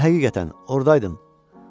Dedim həqiqətən ordaydım.